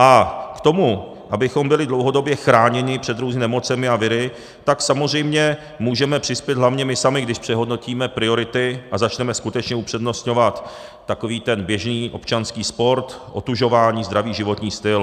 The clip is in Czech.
A k tomu, abychom byli dlouhodobě chráněni před různými nemocemi a viry, tak samozřejmě můžeme přispět hlavně my sami, když přehodnotíme priority a začneme skutečně upřednostňovat takový ten běžný občanský sport, otužování, zdravý životní styl.